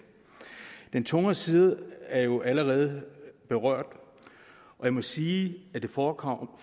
den tungere side er jo allerede berørt og jeg må sige at det forekommer